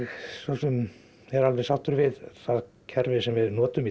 svo sem er alveg sáttur við það kerfi sem við notum í